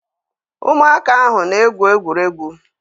Ụmụaka ahụ na-egwu egwuregwu.